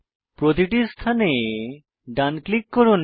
প্রতিটি স্থানে ডান ক্লিক করুন